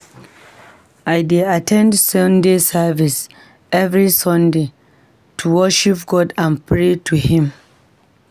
I dey at ten d Sunday service every Sunday to worship God and pray to him.